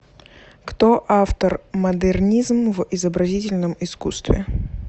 кто автор модернизм в изобразительном искусстве